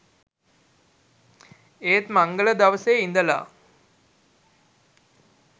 ඒත් මංගල දවසේ ඉඳලා